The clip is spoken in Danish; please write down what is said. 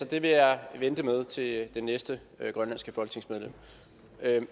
det vil jeg vente med at gøre til det næste grønlandske folketingsmedlem